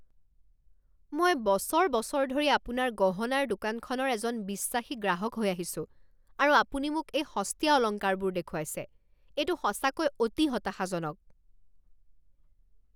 মই বছৰ বছৰ ধৰি আপোনাৰ গহনাৰ দোকানখনৰ এজন বিশ্বাসী গ্ৰাহক হৈ আহিছোঁ আৰু আপুনি মোক এই সস্তীয়া অলংকাৰবোৰ দেখুৱাইছে? এইটো সঁচাকৈ অতি হতাশাজনক।